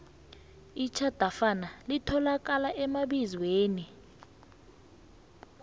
itjhadafana litholakala emabizweni